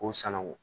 K'u sanango